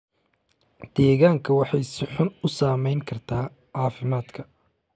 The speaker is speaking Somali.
deegaanka waxay si xun u saameyn kartaa caafimaadka